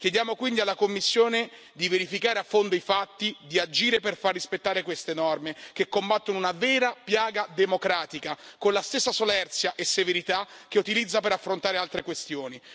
Chiediamo quindi alla Commissione di verificare a fondo i fatti, di agire per far rispettare queste norme che combattono una vera piaga democratica con la stessa solerzia e severità che utilizza per affrontare altre questioni.